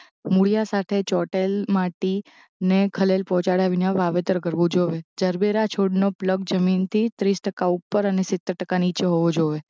મૂળિયાંં સાથે ચોંટેલ માટીને ખલેલ પહોંચાડ્યા વિના વાવેતર કરવું જોવે જરબેરા છોડનો પ્લગ જમીનથી ત્રીસ ટકા ઉપર અને સિત્તેર ટકા નીચે હોવો જોઇએ